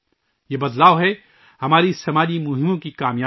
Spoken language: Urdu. یہ تبدیلی ہے ہماری سماجی مہمات کی کامیابی